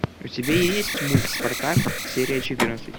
у тебя есть мульт спартак серия четырнадцать